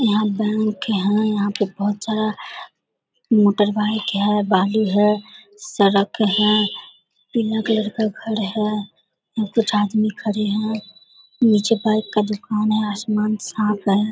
यहाँ बैंक है यहाँ पर बहुत सारा मोटर बाइक है बालू है सड़क है पीला कलर का घर है यहाँ कुछ आदमी खड़े है नीचे बाइक का दूकान है आसमान साफ है।